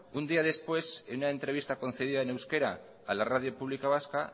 un día después en una entrevista concedida en euskera a la radio pública vasca